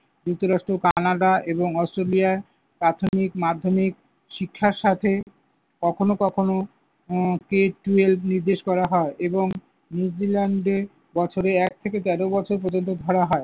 যুক্তরাষ্ট্র, কানাডা এবং অস্ট্রেলিয়ায় প্রাথমিক, মাধ্যমিক শিক্ষার সাথে কখনো কখনো উম K twelve নির্দেশ করা হয় এবং নিউজিল্যান্ডে বছরে এক থেকে তেরো বছর পর্যন্ত ধরা হয়।